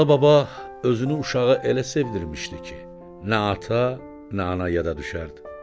Alıbaba özünü uşağa elə sevdirmişdi ki, nə ata, nə ana yada düşərdi.